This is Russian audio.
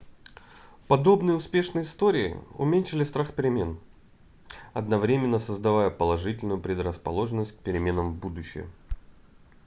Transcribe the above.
подобные успешные истории уменьшали страх перемен одновременно создавая положительную предрасположенность к переменам в будущем